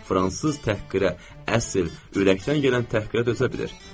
Fransız təhqirə, əsl ürəkdən gələn təhqirə dözə bilir.